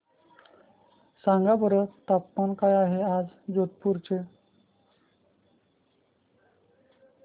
सांगा बरं तापमान काय आहे आज जोधपुर चे